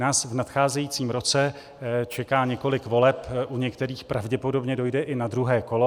Nás v nadcházejícím roce čeká několik voleb, u některých pravděpodobně dojde i na druhé kolo.